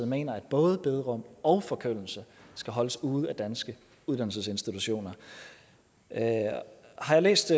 mener at både bederum og forkyndelse skal holdes ude af danske uddannelsesinstitutioner har jeg læst